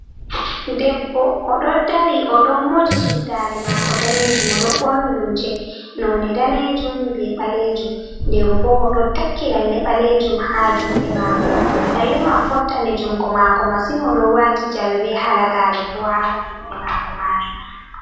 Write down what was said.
Debbo oɗo ɗari o ɗon moji suddare mako danejum, o don ɓorni lumce none danejum be ɓalejum, denbo o do takki lalle balejum ha juɗe mako, lalle man fottani jungo mako masin, o don wati jawe ɓe hala gare bo ha juɗe mako majum.